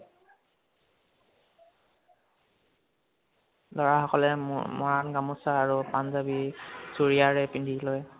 লʼৰা সকলে মৰাণ গামোছা আৰু পাঞ্জাৱী চুৰিয়া পিন্ধি লয়